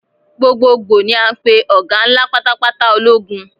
Gbogboogbo ni a ń pè ọ̀gá ńlá pátápátá ológun.